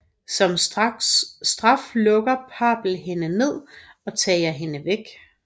Som straf lukker Papple hende ned og tager hende væk